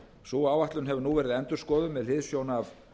sú áætlun hefur nú verið endurskoðuð með hliðsjón af